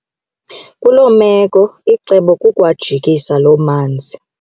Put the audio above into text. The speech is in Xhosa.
Kuloo meko icebo kukuwajikisa loo manzi.